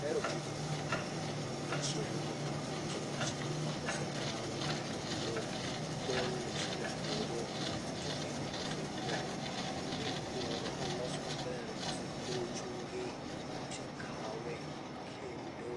Ahero tijni. Namba achiel, mae en tich ma kosekaw kendo ogol michele e puodho to en gino ma ikworo ma los maber kose chungi to ikawe kendo